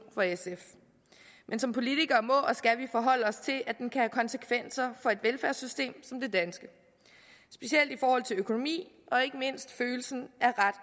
for sf men som politikere må og skal vi forholde os til at den kan have konsekvenser for et velfærdssystem som det danske specielt i forhold til økonomien og ikke mindst følelsen